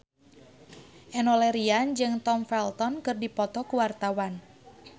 Enno Lerian jeung Tom Felton keur dipoto ku wartawan